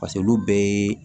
paseke olu bɛɛ ye